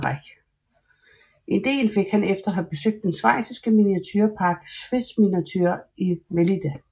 Ideen fik han efter at have besøgt den schweiziske miniaturepark Swissminiatur i Melide